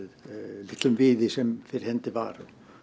litlum viði sem fyrir hendi var